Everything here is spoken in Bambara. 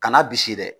Kana bisi dɛ